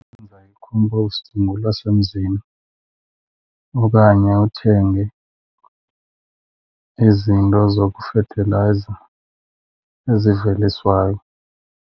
Wenza i-compost ngolwasemzini okanye uthenge izinto zokufethelayiza eziveliswayo.